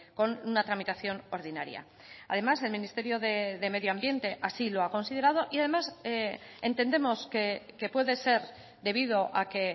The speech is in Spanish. con una tramitación ordinaria además el ministerio de medio ambiente así lo ha considerado y además entendemos que puede ser debido a que